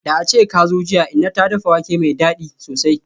Da ace jiya kazo, inna ta dafa wake mai dadi sosai.